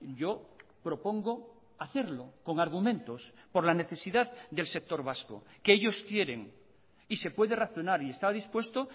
yo propongo hacerlo con argumentos por la necesidad del sector vasco que ellos quieren y se puede razonar y está dispuesto